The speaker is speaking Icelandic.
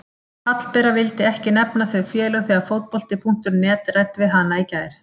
Hallbera vildi ekki nefna þau félög þegar Fótbolti.net ræddi við hana í gær.